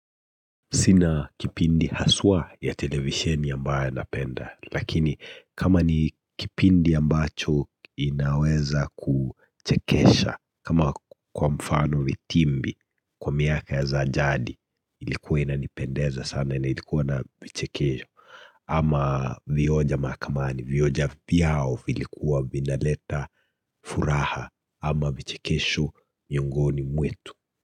Sina kipindi haswa ya televisheni ambayo napenda lakini kama ni kipindi ambacho inaweza kuchekesha kama kwa mfano vitimbi kwa miaka za jadi ilikuwa inanipendeza sana na ilikuwa na vichekesho. Ama vioja makamani, vioja pia hao vilikuwa vinaleta furaha ama vichekesho miongoni mwetu.